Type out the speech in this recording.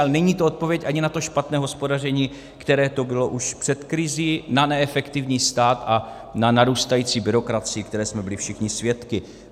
Ale není to odpověď ani na to špatné hospodaření, které tu bylo už před krizí, na neefektivní stát a na narůstající byrokracii, které jsme byli všichni svědky.